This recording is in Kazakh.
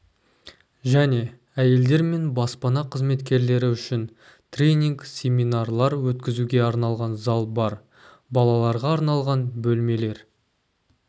және әйелдер мен баспана қызметкерлері үшін тренинг семинарлар өткізуге арналған зал бар балаларға арналған бөлмелер